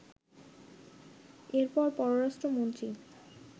এরপর পররাষ্ট্রমন্ত্রী